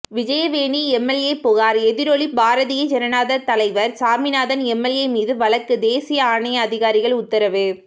Vijayaveni MLA புகார் எதிரொலி பாரதிய ஜனதா தலைவர் சாமிநாதன் எம்எல்ஏ மீது வழக்கு தேசிய ஆணைய அதிகாரிகள் உத்தரவு